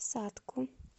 сатку